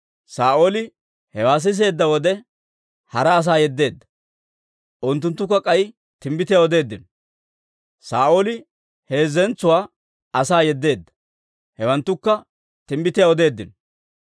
Saa'ooli hewaa siseedda wode, hara asaa yeddeedda; unttunttukka k'ay timbbitiyaa odeeddino. Saa'ooli heezzentso asaa yeddeedda; hewanttukka timbbitiyaa odeeddino.